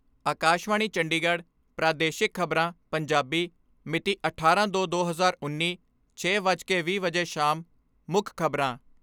ਆਕਾਸ਼ਵਾਣੀ ਚੰਡੀਗੜ੍ਹ ਪ੍ਰਾਦੇਸ਼ਿਕ ਖਬਰਾਂ, ਪੰਜਾਬੀ ਮਿਤੀ ਅਠਾਰਾਂ ਦੋ ਦੋ ਹਜ਼ਾਰ ਉੱਨੀ, ਛੇ ਵੱਜ ਕੇ ਵੀਹ ਮਿੰਟ ਵਜੇ ਸ਼ਾਮ ਮੁੱਖ ਖਬਰਾਂ